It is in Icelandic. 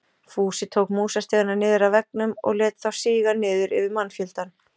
Fúsi tók músastigana niður af veggjunum og lét þá síga niður yfir mannfjöldann.